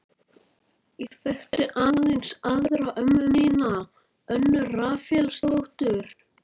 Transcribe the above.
Ég þekkti aðeins aðra ömmu mína, Önnu Rafaelsdóttur.